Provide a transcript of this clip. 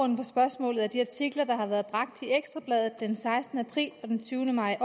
spørgsmålet er de artikler der har været bragt i ekstra bladet den sekstende april og den tyvende maj